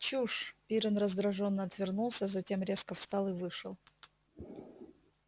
чушь пиренн раздражённо отвернулся затем резко встал и вышел